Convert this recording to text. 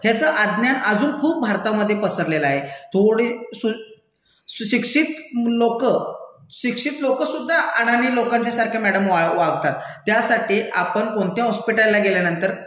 ह्याचं अज्ञान अजून खूप भारतामधे पसरलेलं आहे. थोडी सु, सुशिक्षित लोकं, शिक्षित लोकंसुद्धा अडाणी लोकांच्या सारखं मैडम वागतात. त्यासाठी आपण कोणत्या हॉस्पिटलला गेल्यानंतर